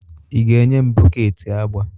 Ị ga-enye m bọket agba?